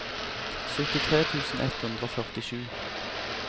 syttitre tusen ett hundre og førtisju